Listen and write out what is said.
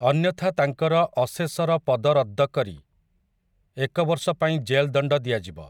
ଅନ୍ୟଥା ତାଙ୍କର ଅଶେଶର ପଦ ରଦ୍ଦ କରି, ଏକବର୍ଷ ପାଇଁ ଜେଲଦଣ୍ଡ ଦିଆଯିବ ।